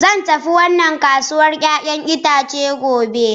Zan tafi wannan kasuwar 'ya'yan itace gobe.